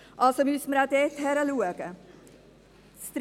Also müsste man auch dort hinschauen.